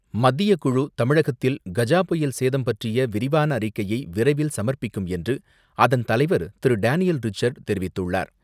மத்தியக்குழு தமிழகத்தில் கஜா புயல் சேதம் பற்றிய விரிவான அறிக்கையை விரைவில் சமர்ப்பிக்கும் என்று அதன் தலைவர் திரு டேனியல் ரிச்சர்டு தெரிவித்துள்ளார்.